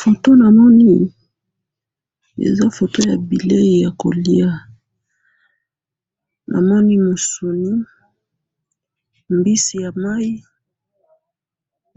foto namoni eza foto ya bileyi ya koliya namoni musuni mbisi ya mayi